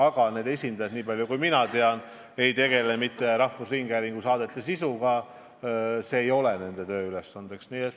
Aga need esindajad, niipalju kui mina tean, ei tegele mitte rahvusringhäälingu saadete sisuga – see ei ole nende tööülesanne.